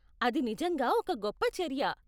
అది నిజంగా ఒక గొప్ప చర్య.